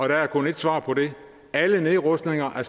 der er kun ét svar på det alle nedrustninger er